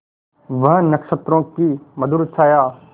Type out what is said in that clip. वह नक्षत्रों की मधुर छाया